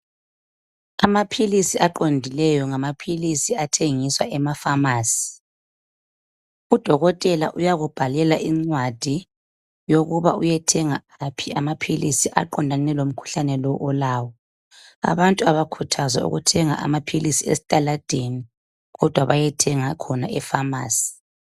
Amaphilisi aqondileyo ngamaphilisi athengiswa ema phamarcy udokotela uyakubhalela incwadi yokuba uyethenga amaphilisi aqondane lomkhuhlane lo olawo abantu abakhuthazwa ukuthenga amaphilisi esitaladeni kodwa bayethenga khona e pharmacy.